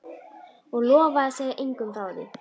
Og lofa að segja engum frá því?